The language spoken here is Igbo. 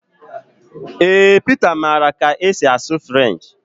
Ee Pita maara ka esi asụ French